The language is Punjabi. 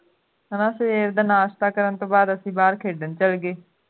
ਹੈ ਨਾ ਫੇਰ ਸਵੇਰ ਦਾ ਨਾਸ਼ਤਾ ਕਰਨ ਤੋਂ ਬਾਅਦ ਅਸੀਂ ਫੇਰ ਬਾਹਰ ਖੇਡਣ ਚਲੇ ਗਏ